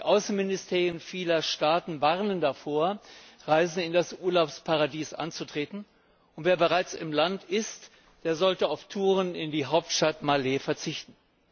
Die Außenministerien vieler Staaten warnen davor, Reisen in das Urlaubsparadies anzutreten, und wer bereits im Land ist, sollte auf Touren in die Hauptstadt Malé verzichten.